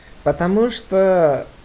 потому что